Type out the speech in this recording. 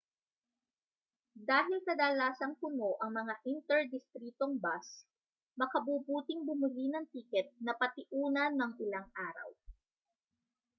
dahil kadalasang puno ang mga inter-distritong bus makabubuting bumili ng tiket na patiuna nang ilang araw